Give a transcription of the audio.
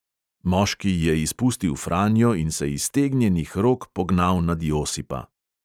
Moški je izpustil franjo in se iztegnjenih rok pognal nad josipa.